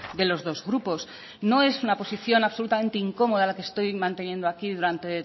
de los dos grupos no es una posición absolutamente incomoda la que estoy manteniendo aquí durante